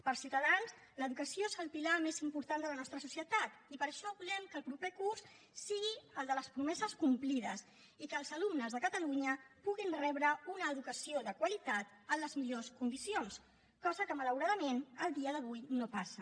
per ciutadans l’educació és el pilar més important de la nostra societat i per això volem que el proper curs sigui el de les promeses complides i que els alumnes de catalunya puguin rebre una educació de qualitat en les millors condicions cosa que malauradament a dia d’avui no passa